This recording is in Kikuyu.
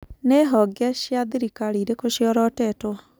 Nĩihonge cia thirikari irĩkũ ciorotĩtwo ?